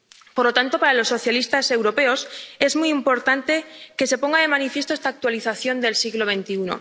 Por lo tanto, para los socialistas europeos, es muy importante que se ponga de manifiesto esta actualización del siglo XXI.